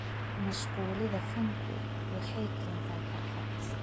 Ku mashquulida fanku waxay keentaa farxad.